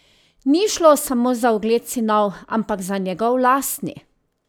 Ni šlo samo za ugled sinov, ampak za njegov lastni!